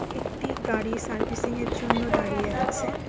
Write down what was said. একটি গাড়ি সার্ভিসিংয়ের জন্য দাঁড়িয়ে আছে।